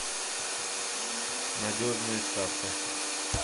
надежная ставка